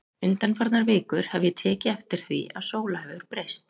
Undanfarnar vikur hef ég tekið eftir því að Sóla hefur breyst.